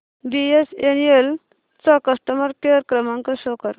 BSNL चा customer care क्रमांक show कर